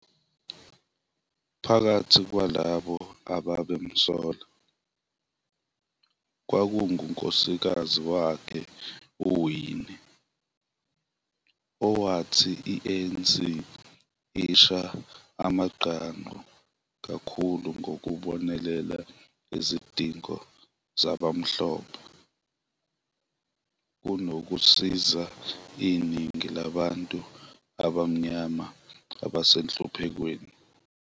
Phakathi kwalabo ababemsola, kwakungunkosikazi wakhe uWinnie, owathi i-ANC isha amagqangqu kakhulu ngokubonelela izidingo zabamhlophe, kunokusiza iningi labantu abamnyama abasenhluphekweni.